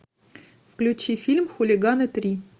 включи фильм хулиганы три